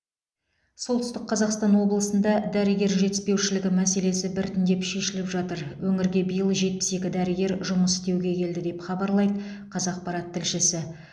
солтүстік қазақстан облысында дәрігер жетіспеушілігі мәселесі біртіндеп шешіліп жатыр өңірге биыл жетпіс екі дәрігер жұмыс істеуге келді деп хабарлайды қазақпарат тілшісі